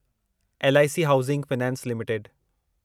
LIC housing finance limited